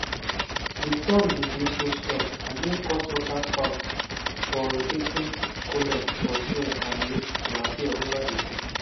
di storm bin dey so strong and e cause waterspouts or rotating columns of air and mist to appear ova di sea.